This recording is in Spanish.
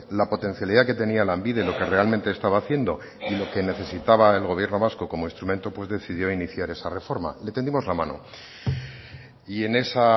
la potencialidad que tenía lanbide lo que realmente estaba haciendo y lo que necesitaba el gobierno vasco como instrumento pues decidió iniciar esta reforma le tendimos la mano y en esa